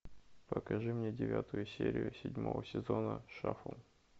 покажи мне девятую серию седьмого сезона шафл